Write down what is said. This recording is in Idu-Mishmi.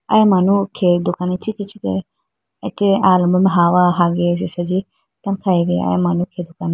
Aya manu khe dukan ichikhi ichikhi ateyi alombro mai hawa hayiga tando khayibo aya manuchi dukan ma.